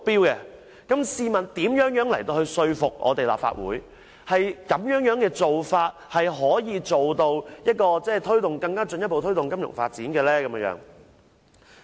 如此的話，試問又如何能說服立法會，金發局變成獨立擔保公司可以進一步推動金融發展呢？